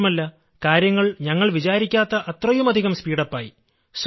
മാത്രമല്ല കാര്യങ്ങൾ ഞങ്ങൾ വിചാരിക്കാത്ത അത്രയുമധികം സ്പീഡ് അപ്പ് ആയി